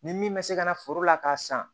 Ni min bɛ se ka na foro la k'a san